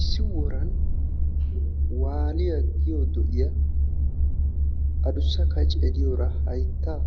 Issi woran waaliya giyo do'iya adussa kacee diyora hayttaa